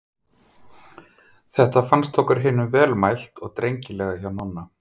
Þetta fannst okkur hinum vel mælt og drengilega hjá Nonna.